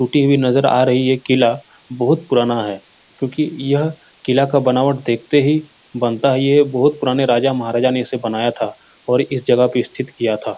टूटी हुई नजर आ रही है। किला बहोत पुराना है क्योंकि यह किला का बनावट देखते ही बनता है। ये बहोत पुराने राजा-महाराजा ने इसे बनाया था और इस जगह पे स्थित किया था।